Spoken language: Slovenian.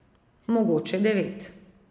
Mogoče devet?